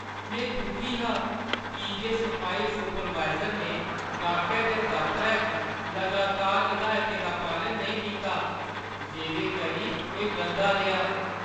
में दुखी हा की जे सफाई सुपरवाइज़र ने गाह्‌कै दे दफतरै च लगातार हिदायतें दा पालन नेईं कीता जेह्दे करी एह् गंदा रेहा।